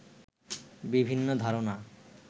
বিভিন্ন ধারণা